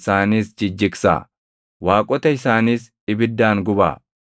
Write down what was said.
isaaniis jijjigsaa; waaqota isaaniis ibiddaan gubbaa.